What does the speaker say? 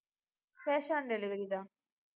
cash on delivery தான்.